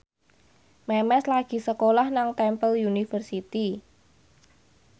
Memes lagi sekolah nang Temple University